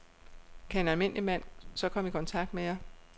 Kan en almindelig mand så komme i kontakt med jer?